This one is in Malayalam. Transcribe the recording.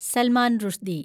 സൽമാൻ റുഷ്ദി